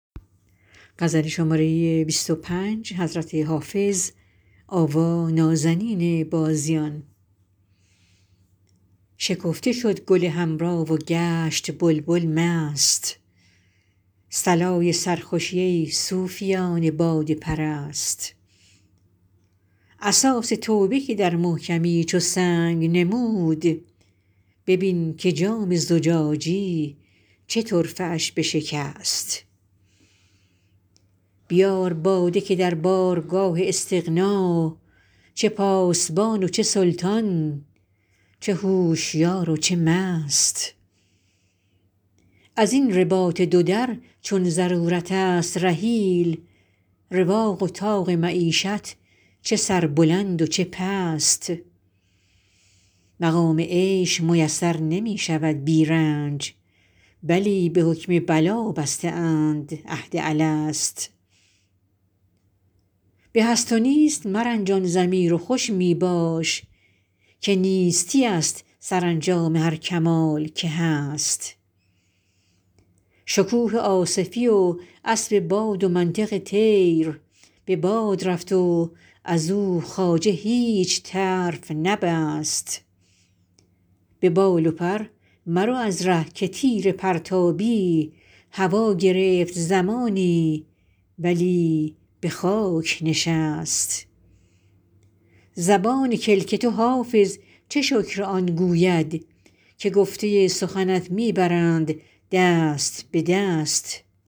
شکفته شد گل حمرا و گشت بلبل مست صلای سرخوشی ای صوفیان باده پرست اساس توبه که در محکمی چو سنگ نمود ببین که جام زجاجی چه طرفه اش بشکست بیار باده که در بارگاه استغنا چه پاسبان و چه سلطان چه هوشیار و چه مست از این رباط دو در چون ضرورت است رحیل رواق و طاق معیشت چه سربلند و چه پست مقام عیش میسر نمی شود بی رنج بلی به حکم بلا بسته اند عهد الست به هست و نیست مرنجان ضمیر و خوش می باش که نیستی ست سرانجام هر کمال که هست شکوه آصفی و اسب باد و منطق طیر به باد رفت و از او خواجه هیچ طرف نبست به بال و پر مرو از ره که تیر پرتابی هوا گرفت زمانی ولی به خاک نشست زبان کلک تو حافظ چه شکر آن گوید که گفته سخنت می برند دست به دست